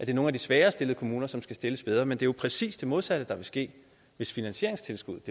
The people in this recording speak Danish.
er nogle af de svagere stillede kommuner som skal stilles bedre men det er jo præcis det modsatte der vil ske hvis finansieringstilskuddet